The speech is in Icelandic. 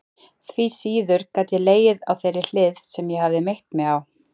Því síður gat ég legið á þeirri hlið sem ég hafði meitt mig á.